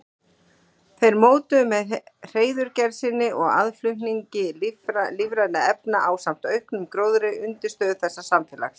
Þeir mótuðu með hreiðurgerð sinni og aðflutningi lífrænna efna ásamt auknum gróðri undirstöðu þessa samfélags.